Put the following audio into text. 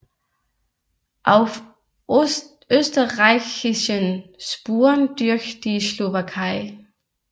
Auf österreichischen Spuren durch die Slowakei